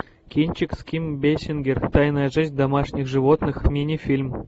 кинчик с ким бейсингер тайная жизнь домашних животных мини фильм